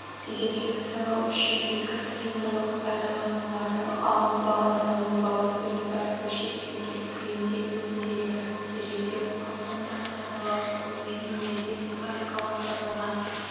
дезинфекциялау үшін екі сыйымдылық пайдаланылады алынбалы-салынбалы бұйымдар бөлшектелген күйінде өңделеді стерилдеу алдында тазалау қолмен немесе механикаландырылған